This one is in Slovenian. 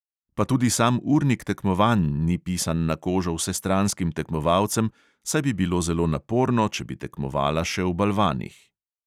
Pa tudi sam urnik tekmovanj ni pisan na kožo vsestranskim tekmovalcem, saj bi bilo zelo naporno, če bi tekmovala še v balvanih.